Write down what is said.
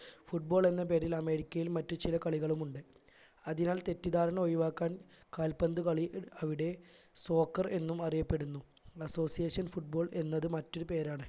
football എന്ന പേരിൽ അമേരിക്കയിൽ മറ്റു ചില കളികളുമുണ്ട് അതിനാൽ തെറ്റിധാരണ ഒഴിവാക്കാൻ കാൽപ്പന്തു കളി അവിടെ soccer എന്നും അറിയപ്പെടുന്നു association football എന്നത് മറ്റൊരു പേരാണ്